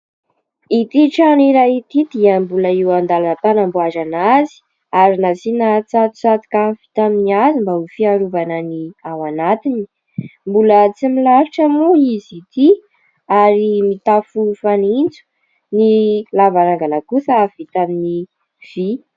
Ity trano iray ity dia mbola eo andalam-panamboarana azy ary nasiana tsatotsatoka vita amin'ny hazo mba ho fiarovana ny ao anatiny. Mbola tsy milalotra moa izy ity ary mitafo fanitso, ny lavarangana kosa vita amin'ny vy.